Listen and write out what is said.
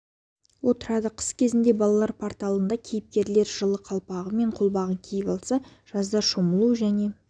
отырады қыс кезінде балалар порталында кейіпкерлер жылы қалпағы мен қолғабын киіп алса жазда шомылу және